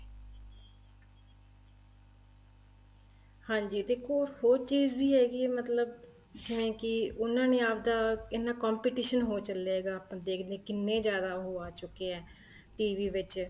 ਹਾਂਜੀ ਦੇਖੋ ਉਹ ਚੀਜ਼ ਵੀ ਹੈਗੀ ਏ ਮਤਲਬ ਜਿਵੇਂ ਕੀ ਉਹਨਾ ਨੇ ਆਪਦਾ ਇੰਨਾ competition ਹੋ ਚੱਲਿਆ ਏ ਹੈਗਾ ਆਪਾਂ ਦੇਖਦੇ ਆ ਕਿੰਨੇ ਜਿਆਦਾ ਉਹ ਆ ਚੁੱਕੇ ਏ TV ਵਿੱਚ